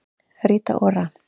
Rita Ora